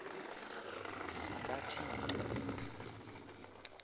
zikathixo